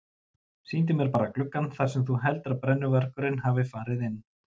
Sýndu mér bara gluggann þar sem þú heldur að brennuvargurinn hafi farið inn.